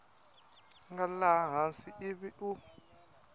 nga laha hansi ivi u